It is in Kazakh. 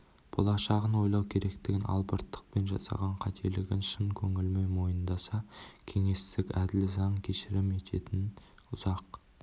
болашағын ойлау керектігін албырттықпен жасаған қателігін шын көңілімен мойындаса кеңестік әділ заң кешірім ететінін ұзақ